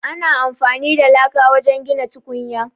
Ana amfani da laka wajen gina tukunya.